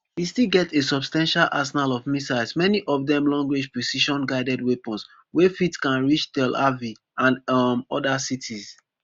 e still get a substantial arsenal of missiles many of dem longrange precisionguided weapons wey fitcan reach tel aviv and um oda cities